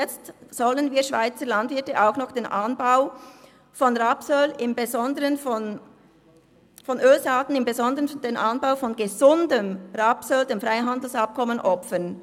Jetzt sollen wir Schweizer Landwirte auch noch den Anbau von Ölsaaten, im Besonderen von gesundem Rapsöl, dem Freihandelsabkommen opfern.